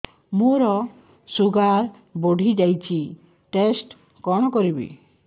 ମୋର ଶୁଗାର ବଢିଯାଇଛି ଟେଷ୍ଟ କଣ କରିବି